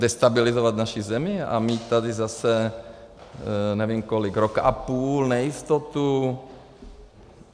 Destabilizovat naši zemi a mít tady zase nevím kolik, rok a půl nejistotu?